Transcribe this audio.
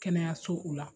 Kɛnɛyasow la